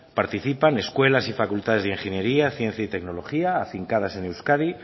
participan escuelas y facultades de ingeniería ciencia y tecnología afincadas en euskadi